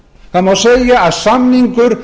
það má segja að samningur